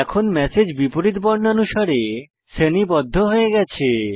এখন ম্যাসেজ বিপরীত বর্ণানুসারে শ্রেণীবদ্ধ হয়ে গেছে